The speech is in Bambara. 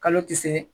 Kalo tɛ se